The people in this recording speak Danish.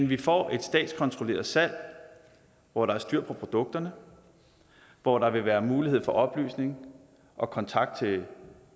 vi får et statskontrolleret salg hvor der er styr på produkterne og hvor der vil være mulighed for oplysning og kontakt til